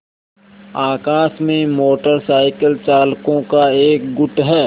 आकाश में motor cycle चालकों का एक गुट है